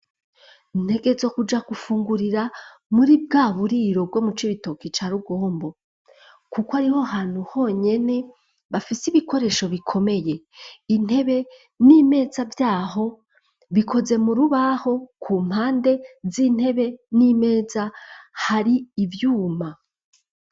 Ntegezo kuja gufungurira muri bwa buriro bwo mu co ibitoki ca rugombo, kuko hariho hantu honyene bafise ibikoresho bikomeye intebe n'imeza vyaho bikoze mu rubaho ku mpande z'intebe n'imeza hari ivyuma.